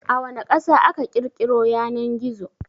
A wana Ƙasa aka ƘirƘiro Yanan-gizo?